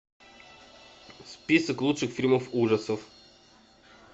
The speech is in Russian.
список лучших фильмов ужасов